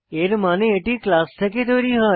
এর মানে এটি ক্লাস থেকে তৈরী হয়